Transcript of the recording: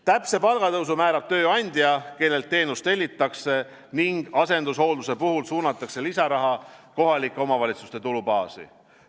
Täpse palgatõusu määrab tööandja, kellelt teenust tellitakse, ning asendushoolduse puhul suunatakse lisaraha kohalike omavalitsuste tulubaasi.